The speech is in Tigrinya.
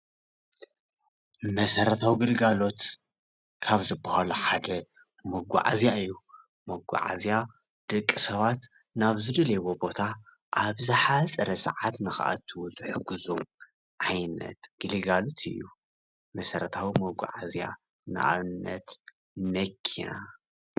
መሰረታዊ ግልጋሎት ካብ ዝባሃሉ ሓደ መጓዓዝያ እዩ፡፡ መጓዓዝ ደቂ ሰባት ናብ ዝደልዩዎ ቦታ ኣብ ዝሓፀረ ሰዓት ንኽኣቱ ዝሕግዙ ዓይነት ግልጋሎት እዩ፡፡ መሰረታዊ መጓዓዝያ ንኣብነት መኪና።